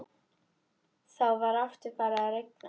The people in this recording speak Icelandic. Þá var aftur farið að rigna.